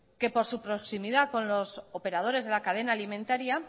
que por su proximidad con los operadores de la cadena alimentaria